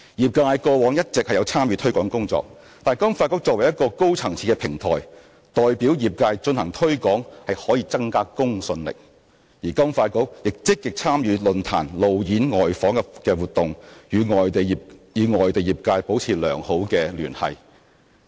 業界過往一直有參與推廣工作，但金發局作為一個高層次的平台，代表業界進行推廣可增加公信力，而金發局亦積極參與論壇、路演、外訪等活動，與外地業界保持良好的聯繫。